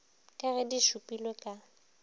ka ge di šupilwe ka